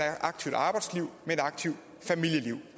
aktivt arbejdsliv med et aktivt familieliv